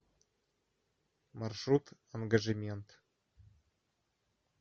маршрут ангажемент